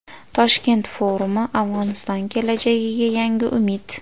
Toshkent forumi: Afg‘oniston kelajagiga yangi umid.